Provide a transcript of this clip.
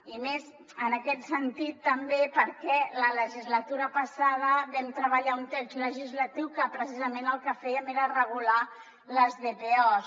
i més en aquest sentit també perquè la legislatura passada vam treballar un text legislatiu en què precisament el que fèiem era regular les dpos